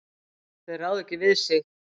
Þeir ráða ekki við sig.